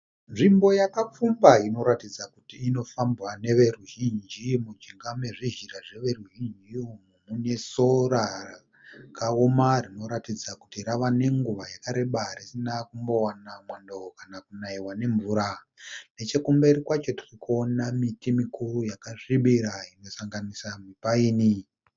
Nzvimbo yakapfumba inoratidza kuti inofambwa neveruzhinji. Mujinga mezvizhira zveveruzhinji umu mune sora rakaoma rinoratidza kuti rave nenguva yakareba risina kumbowana mwando kana kunaiwa nemvura. Nechekumberi kwacho tirikuona miti mikuru yakasvibira kusanganisira mipaini.